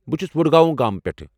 بہٕ چھٗس وڈگاؤں گامہٕ پٮ۪ٹھہٕ ۔